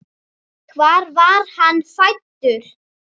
Hvar var hann fæddur?